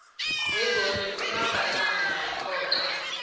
begodu umabhalana wekhotho